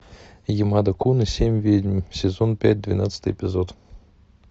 ямада кун и семь ведьм сезон пять двенадцатый эпизод